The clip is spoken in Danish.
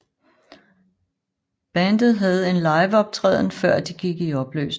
Bandet havde en liveoptræden før de gik i opløsning